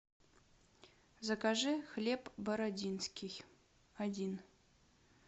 закажи хлеб бородинский один